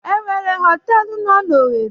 E nwere họtelụ no n'Owere?